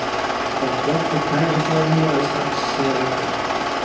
Það var gott að kæfa þá umræðu strax, segir Alfreð.